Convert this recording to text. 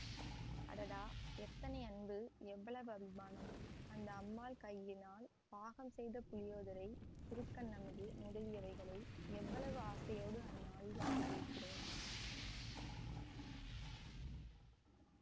அடாடா எத்தனை அன்பு எவ்வளவு அபிமானம் அந்த அம்மாள் கையினால் பாகம் செய்த புளியோதரை திருக்கண்ணமுது முதலியவைகளை எவ்வளவு ஆசையோடு அந்த நாளில் சாப்பிட்டிருக்கிறேன்